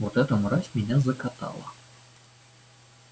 вот эта мразь меня закатала